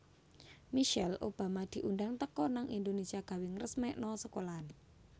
Michelle Obama diundang teko nang Indonesia gawe ngresmikno sekolahan